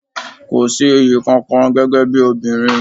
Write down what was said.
Kò sí iyì kankan gẹ́gẹ́ bí obìnrin.